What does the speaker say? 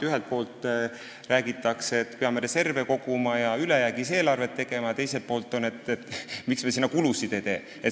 Ühelt poolt räägitakse, et me peame reserve koguma ja ülejäägis eelarve tegema, teiselt poolt küsitakse, miks me sinna kulutusi ei tee.